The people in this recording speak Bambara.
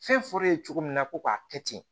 Fɛn fɔr'e ye cogo min na ko k'a kɛ ten